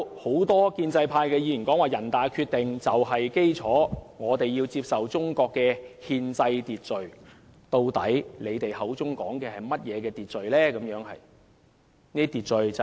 很多建制派議員提到人大的《決定》就是基礎，我們要接受中國的憲制秩序，但他們口中所說的究竟是甚麼秩序呢？